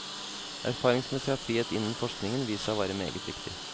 Erfaringsmessig har frihet innen forskningen vist seg å være meget viktig.